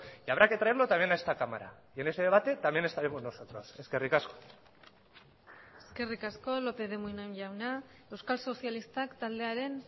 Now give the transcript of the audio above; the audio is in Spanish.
y habrá que traerlo también a esta cámara y en ese debate también estaremos nosotros eskerrik asko eskerrik asko lópez de munain jauna euskal sozialistak taldearen